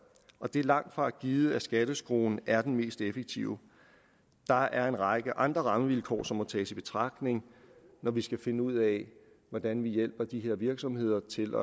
og det er langtfra givet at skatteskruen er det mest effektive der er en række andre rammevilkår som må tages i betragtning når vi skal finde ud af hvordan vi hjælper de her virksomheder til